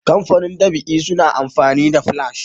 kamfanin ɗab'i suna amfani da flash